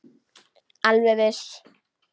Alveg viss.